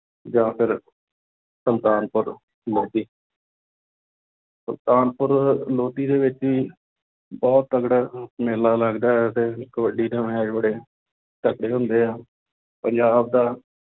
ਜਾਂ ਫਿਰ ਸੁਲਤਾਨਪੁਰ ਲੋਧੀ ਸੁਲਤਾਨਪੁਰ ਲੋਧੀ ਦੇ ਵਿੱਚ ਵੀ ਬਹੁਤ ਤਕੜਾ ਮੇਲਾ ਲੱਗਦਾ ਹੈ ਤੇ ਕਬੱਡੀ ਦੇ match ਬੜੇ ਤਕੜੇ ਹੁੰਦੇ ਆ, ਪੰਜਾਬ ਦਾ